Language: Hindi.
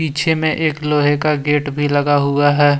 पीछे में एक लोहे का गेट भी लगा हुआ है।